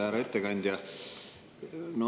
Härra ettekandja!